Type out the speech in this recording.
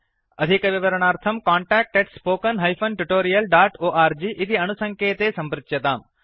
अधिकविवरणार्थं contact spoken tutorialorg इति अणुसङ्केते सम्पृच्यताम्